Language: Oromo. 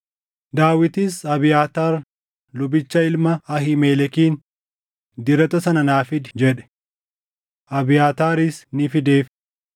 Daawitis Abiyaataar lubicha ilma Ahiimelekiin, “Dirata sana naa fidi” jedhe. Abiyaataaris ni fideef;